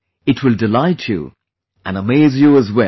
It will delight you and amaze you as well